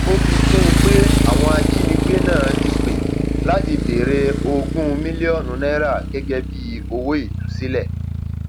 ó fi kún un pé àwọn ajínigbé náà ti pẹ láti béèrè ogún mílíọnù náírà gẹgẹ bíi owó ìtúsílẹ